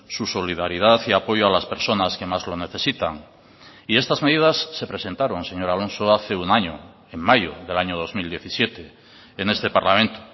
su solidaridad y apoyo a las personas que más lo necesitan y estas medidas se presentaron señor alonso hace un año en mayo del año dos mil diecisiete en este parlamento